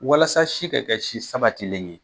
Walasa si ka kɛ si sabatilen ye,